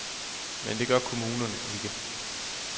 Men det gør kommunerne ikke.